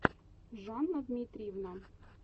жанна дмитриевна